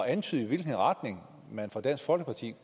antyde i hvilken retning man fra dansk folkepartis